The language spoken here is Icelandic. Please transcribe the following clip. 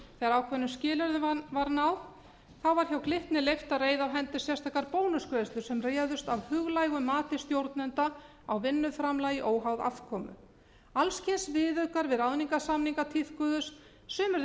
þegar ákveðnum skilyrðum var náð þá var hjá glitni leyft að reiða af hendi sérstakar bónusgreiðslur sem réðust af huglægu mati stjórnenda af vinnuframlagi óháð afkomu alls kyns viðaukar við ráðningarsamninga tíðkuðust sumir þeirra